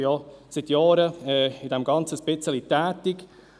Ich bin seit Jahren ein bisschen in diesem Ganzen tätig.